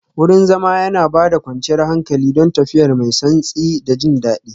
Wurin zama yana ba da kwanciyar hankali, don tafiya mai santsi da jin daɗi